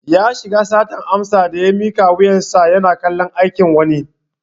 Ya shiga satar amsa daya miƙa wuyar sa yana kallon aikin wani